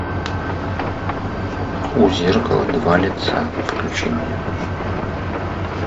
у зеркала два лица включи мне